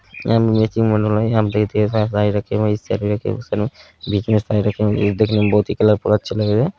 यहाँ पे प्लाई रखी हुई है ये देखने में बहुत ही कलरफूल अच्छे लग रहे हैं।